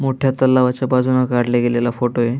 मोठ्या तलावाच्या बाजूने काढला गेलेला फोटो ये.